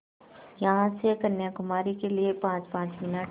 यहाँ से कन्याकुमारी के लिए पाँचपाँच मिनट